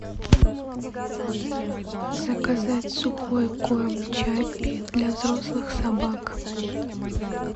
заказать сухой корм чаппи для взрослых собак